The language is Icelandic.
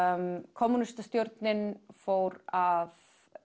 kommúnistastjórnin fór að